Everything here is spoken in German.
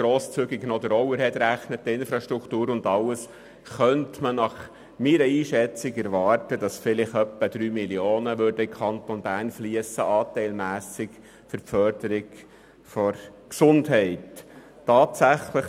Unter grosszügiger Berechnung der Overhead- und Infrastrukturkosten schätze ich für den Kanton Bern einen anteilmässigen Betrag von rund 3 Mio. Franken, der zur Förderung der Gesundheit einfliessen müsste.